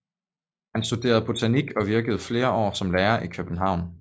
Han studerede botanik og virkede flere år som lærer i København